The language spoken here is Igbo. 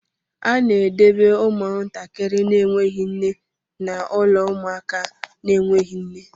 A na-edobe ụmụntakịrị na-enweghị nne n'ụlọ ụmụaka na-enweghị nne